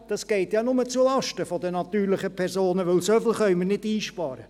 Das geht ja nur zulasten der natürlichen Personen, denn so viel können wir nicht einsparen.